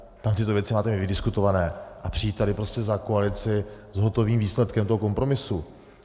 Tam tyto věci máte mít vydiskutované a přijít tady prostě za koalici s hotovým výsledkem toho kompromisu.